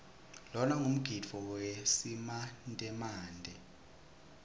lona ngumgidvo wesimantemante